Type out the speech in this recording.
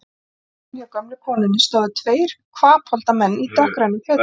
Við borðsendann hjá gömlu konunni stóðu tveir hvapholda menn í dökkgrænum fötum.